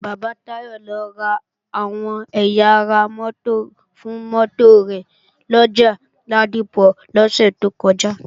Bàbá Táyọ̀ lọ ra àwọn ẹ̀yà ara mótò fún mótò rẹ̀ lọjà Ládípọ̀ lọ́sẹ̀ tó kọjá